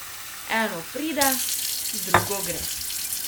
Eno pride, drugo gre.